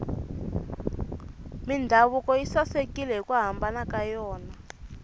mindhavuko yi sasekile hiku hambana ka yona